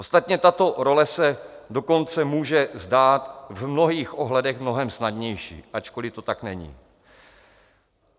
Ostatně tato role se dokonce může zdát v mnohých ohledech mnohem snadnější, ačkoliv to tak není.